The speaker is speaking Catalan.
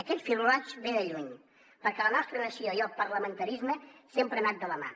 aquest fil roig ve de lluny perquè la nostra nació i el parlamentarisme sempre han anat de la mà